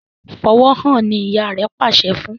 Fí ọwọ hàn! ní ìyá rẹ pàṣẹ fún.